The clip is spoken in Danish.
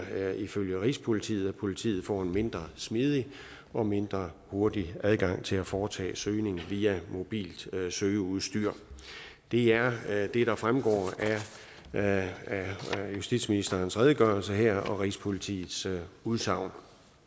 ifølge rigspolitiet at politiet får en mindre smidig og mindre hurtig adgang til at foretage søgninger via mobilt søgeudstyr det er det der fremgår af justitsministerens redegørelse her og rigspolitiets udsagn